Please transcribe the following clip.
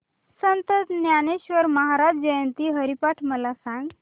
संत ज्ञानेश्वर महाराज जयंती हरिपाठ मला सांग